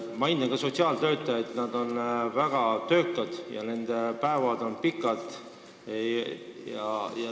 Ma hindan ka sotsiaaltöötajaid, kes on väga töökad ja kelle päevad on pikad.